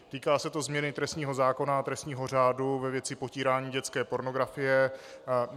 Týká se to změny trestního zákona a trestního řádu ve věci potírání dětské pornografie.